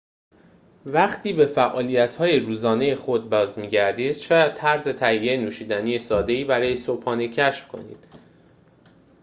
وقتی به فعالیت روزانه خود باز می‌گردید شاید طرز تهیه نوشیدنی ساده‌ای برای صبحانه کشف کنید